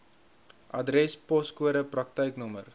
adres poskode praktyknommer